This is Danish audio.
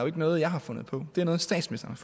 ikke noget jeg har fundet på det er noget statsministeren